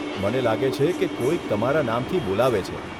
મને લાગે છે કે કોઈક તમારા નામથી બોલાવે છે.